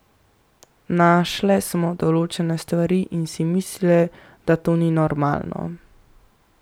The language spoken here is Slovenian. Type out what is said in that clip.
Našle smo določene stvari in si mislile, da to ni normalno.